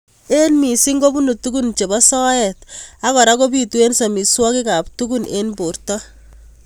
Eng missing kobunu tukun chebo soet ak kora kobitu eng samiswokik ab tukun eng borto.